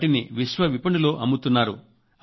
వాటిని విశ్వవిపణిలో అమ్ముతున్నారు